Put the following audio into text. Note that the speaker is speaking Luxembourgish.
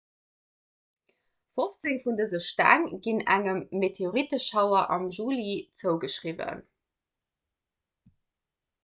fofzéng vun dëse steng ginn engem meteoritteschauer am juli zougeschriwwen